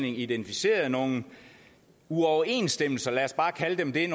identificeret nogle uoverensstemmelser lad os bare kalde dem det